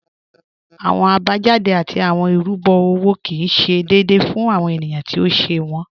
Awọn abajáde tí awọn irúbo owó kí ì ṣé déèdé fún awọn ènìyàn tí ó ṣè wọn.